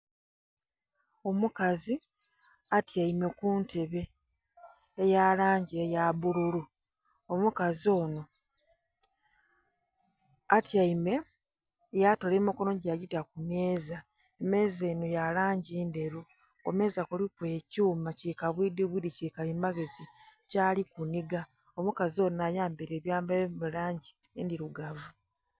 Omukazi atyaime ku ntebe eya langi eya bululu, omukazi onho atyaime yatoola emikonho gye ya gita ku meeza. Meeza enho ya langi ndheru. Ku meeza kuliku ekyuma ki kabwidhibwidhi ki kalimagezi kyali kunhiga, omukazi onho ayambaile ebyambalo ebili mu langi endhilugavu.